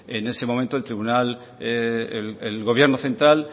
en ese momento el tribunal el gobierno central